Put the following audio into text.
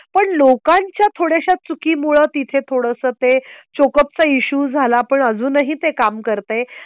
पण लोकांच्या थोड्याशा चुकी मुळे तिथे थोड सं ते चोक अपचा इशू झाला पण अजूनही ते काम करते.